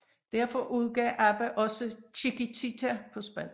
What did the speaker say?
Derfor udgav ABBA også Chiquitita på spansk